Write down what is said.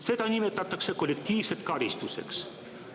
Seda nimetatakse kollektiivseks karistuseks.